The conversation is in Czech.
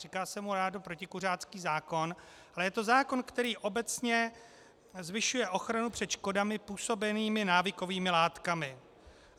Říká se mu rádo protikuřácký zákon, ale je to zákon, který obecně zvyšuje ochranu před škodami působenými návykovými látkami.